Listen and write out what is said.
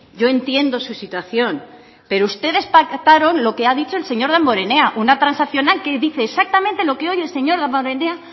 yo entiendo su situación pero ustedes pactaron lo que ha dicho el señor damborenea una transaccional que dice exactamente lo que hoy el señor damborenea